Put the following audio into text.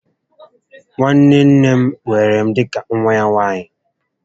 Nwanne nne m weere m dịka nwa ya nwaanyị